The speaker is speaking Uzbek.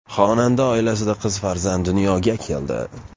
Xonanda oilasida qiz farzand dunyoga keldi.